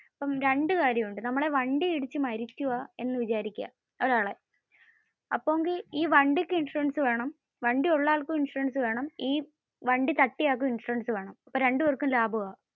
രണ്ടു കാര്യമുണ്ട്. നമ്മുടെ വണ്ടി ഇടിച്ചു മരിക്കുവാ എന്ന് വിചാരിക്കുവാ. ഒരാള്. അപ്പോ ഈ വണ്ടിക് ഇൻഷുറൻസ് വേണം, വണ്ടി ഉള്ള ആൾക്കും ഇൻഷുറന്സ വേണം, ഈ വണ്ടി തട്ടിയ ആൾക്കും ഇൻഷുറൻസ് വേണം. അപ്പോ രണ്ടു പേർക്കും ലാഭം ആണ്.